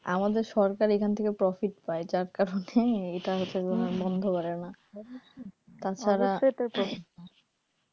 আমাদের সরকার এখান থেকে profit পায় যার কারণে এইটা হচ্ছে তোমার বন্ধ করেনা তাছাড়া